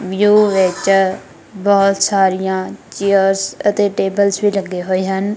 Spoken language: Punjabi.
ਵਿਊ ਵਿੱਚ ਬਹੁਤ ਸਾਰੀਆਂ ਚੇਅਰਸ ਅਤੇ ਟੇਬਲ ਵੀ ਲੱਗੇ ਹੋਏ ਹਨ।